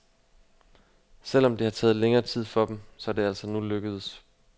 Selv om det har taget længere tid for dem, så er det altså nu lykkedes.